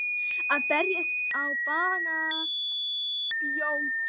Að berast á banaspjót